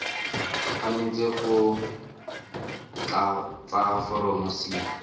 tshwanetse go tlatsa foromo c